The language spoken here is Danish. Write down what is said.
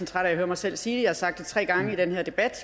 træt af at høre mig selv sige det jeg har sagt det tre gange i den her debat